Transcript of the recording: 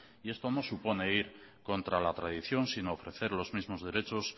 y esto no supone ir contra la tradición sino ofrecer los mismos derechos